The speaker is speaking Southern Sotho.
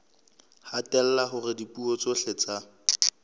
hatella hore dipuo tsohle tsa